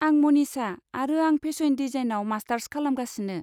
आं मनिसा आरो आं फेशन डिजाइनाव मास्टार्स खालामगासिनो।